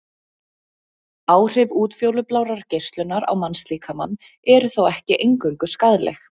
Áhrif útfjólublárrar geislunar á mannslíkamann eru þó ekki eingöngu skaðleg.